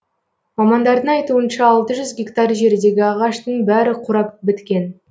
мамандардың айтуынша алты жүз гектар жердегі ағаштың бәрі қурап біткен